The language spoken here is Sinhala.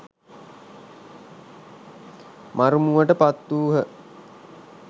මරුමුවට පත් වූහ.